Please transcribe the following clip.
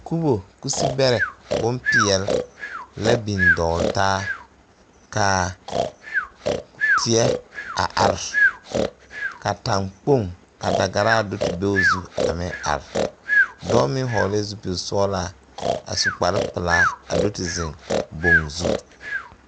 Kubo kusibɛrɛ bonpeɛl la biŋ dɔgle taa kaa teɛ a are ka tagkpoŋ ka dagaraa do te be o zu a meŋ are dɔɔ meŋ vɔglɛɛ zupil sɔglaa a su kpare pilaa a do te ziŋ boŋ zu.